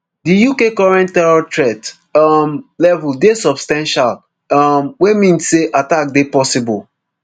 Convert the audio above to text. di uk current terror threat um level dey substantial um wey mean say attack dey possible